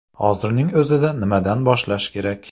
Hozirning o‘zida nimadan boshlash kerak ?